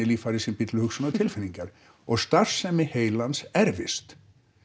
líffæri sem býr til hugsun og tilfinningar og starfsemi heilans erfist